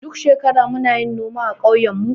Duk shekara muna yin noma a ƙauyen mu.